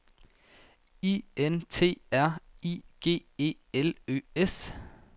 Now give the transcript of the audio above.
I N T R I G E L Ø S